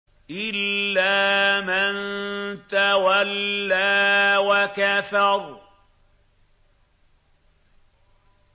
إِلَّا مَن تَوَلَّىٰ وَكَفَرَ